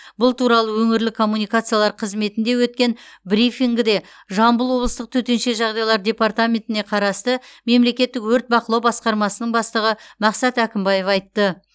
бұл туралы өңірлік коммуникациялар қызметінде өткен брифингіде жамбыл облыстық төтенше жағдайлар департаментіне қарасты мемлекеттік өрт бақылау басқармасының бастығы мақсат әкімбаев айтты